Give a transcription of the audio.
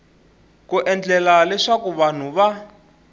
ku endlela leswaku vanhu va